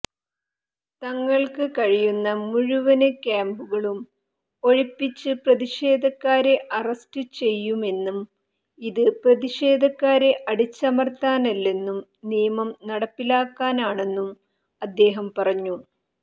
തങ്ങള്ക്ക കഴിയുന്ന മുഴുവന് ക്യാമ്പുകളും ഒഴിപ്പിച്ച് പ്രതിഷേധക്കാരെ അറസ്റ്റ് ചെയ്യുമെന്നും ഇത് പ്രതിഷേധക്കാരെ അടിച്ചമര്ത്താനല്ലെന്നും നിയമം നടപ്പിലാക്കാനാണെന്നും അദ്ദേഹം പറഞ്ഞു